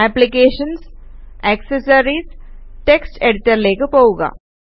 applications GT accessories GT text എഡിറ്റര്ലേക്ക് പോകുക